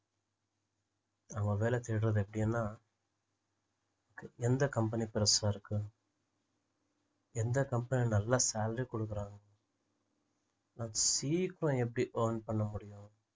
அவங்க வேலை தேடுறது எப்படின்னா எந்த company பெரிசா இருக்கு எந்த company ல நல்லா salary குடுக்குறாங்க சீக்கிரம் எப்படி earn பண்ண முடியும்